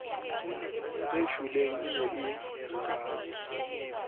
e shweleng e ne e